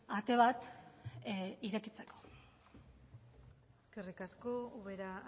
ate bat irekitzeko eskerrik asko ubera